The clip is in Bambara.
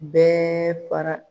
Bɛɛ fara.